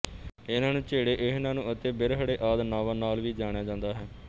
ਇਹਨਾਂ ਨੂੰ ਝੇੜੇ ਇਹਨਾਂ ਨੂੰ ਅਤੇ ਬਿਰਹੜੇ ਆਦਿ ਨਾਵਾਂ ਨਾਲ ਵੀ ਜਾਣਿਆ ਜਾਂਦਾ ਹੈ